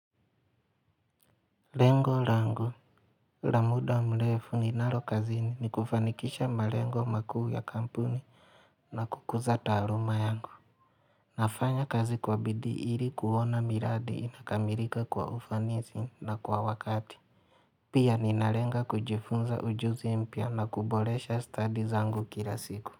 Lengo lango, la muda mlefu ninalo kazini ni kufanikisha malengo makuu ya kampuni na kukuza taaluma yangu. Nafanya kazi kwa bidii ili kuona miradi inakamilika kwa ufanisi na kwa wakati. Pia ninalenga kujifunza ujuzi mpya na kuboresha stadi zangu kila siku.